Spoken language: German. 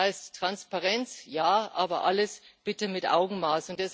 Das heißt Transparenz ja, aber alles bitte mit Augenmaß.